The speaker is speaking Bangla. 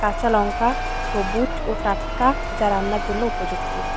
কাচা লঙ্কা সবুজ ও টাটকা যা রান্নার জন্য উপযুক্ত।